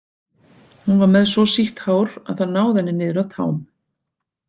Hún var með svo sítt hár að það náði henni niður að tám.